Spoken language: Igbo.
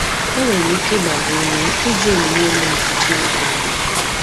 Enwere m ike ịgba gị ume iji onyinye mmụọ nke Chineke nyere gị?